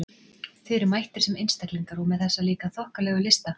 Þið eruð mættir sem einstaklingar- og með þessa líka þokkalegu lista!